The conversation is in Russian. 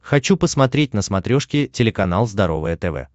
хочу посмотреть на смотрешке телеканал здоровое тв